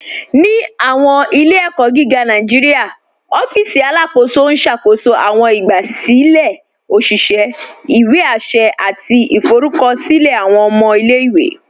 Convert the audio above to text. Ni awọn ilẹ̀-ẹ̀kọ̀ giga Nàìjíríà, òfìsì Alákóso n ṣákóṣó awọn ìgbàsílẹ̀ òṣìṣẹ̀, ìwé àṣẹ̀, àti ìfọ̀rùkọ̀ṣílẹ̀ awọn ọmọ ilẹ̀-iwe.